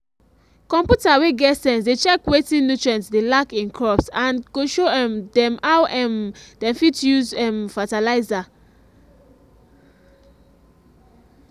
computer wey get sense dey check wetin nutrients dey lack in crops and go show um dem how um dem fit use um fertilizer